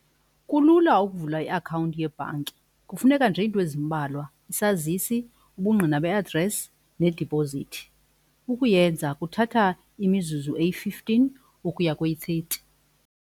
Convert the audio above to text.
Kulula ukuvula iakhawunti yebhanki. kufuneka nje into ezimbalwa isazisi, ubungqina be-address nedipozithi. Ukuyenza kuthatha imizuzu eyi-fifteen ukuya kweyi-thirty.